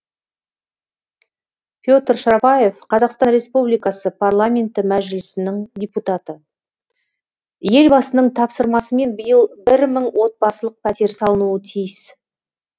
петр шарапаев қазақстан республикасы парламенті мәжілісінің депутаты елбасының тапсырмасымен биыл бір мың отбасылық пәтер салынуы тиіс